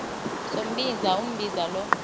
sombinza umbinza lo